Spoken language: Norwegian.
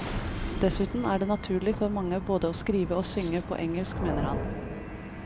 Dessuten er det naturlig for mange både å skrive og synge på engelsk, mener han.